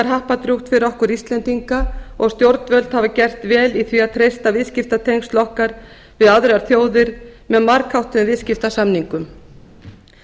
happadrjúgt fyrir okkur íslendinga og stjórnvöld hafa gert vel í því að treysta viðskiptatengsl okkar við aðrar þjóðir með margháttuðum viðskiptasamningum